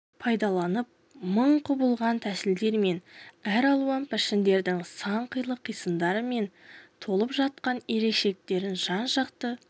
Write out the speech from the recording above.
пайдаланып мың құбылған тәсілдер мен әралуан пішіндердің сан қилы қисындары мен толып жатқан ерекшеліктерін жан-жақты